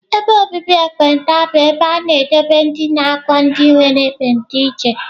Ebe obibi ekpenta bụ ebe a na-edobe ma na-agwọ ndị nwere ekpenta iche.